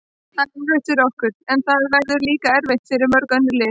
Það verður erfitt fyrir okkur, en það verður líka erfitt fyrir mörg önnur lið.